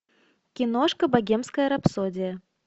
киношка богемская рапсодия